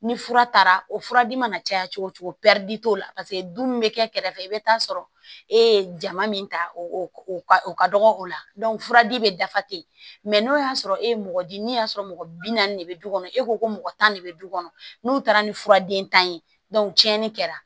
Ni fura taara o fura di mana caya cogo o cogo t'o la paseke dun bɛ kɛ kɛrɛfɛ i bɛ taa sɔrɔ e ye jama min ta o ka o ka dɔgɔ o la furaji bɛ dafa ten n'o y'a sɔrɔ e ye mɔgɔ di n'i y'a sɔrɔ mɔgɔ bi naani de bɛ du kɔnɔ e ko ko mɔgɔ tan de bɛ du kɔnɔ n'u taara ni fura den tan ye tiɲɛni kɛra